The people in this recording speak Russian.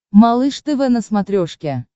малыш тв на смотрешке